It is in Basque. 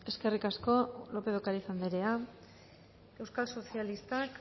eskerrik asko lópez de ocariz anderea euskal sozialistak